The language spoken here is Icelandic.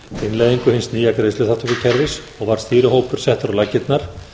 innleiðingu hins nýja greiðsluþátttökukerfis og var stýrihópur settur á laggirnar